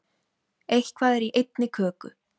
Eitthvað er í einni köku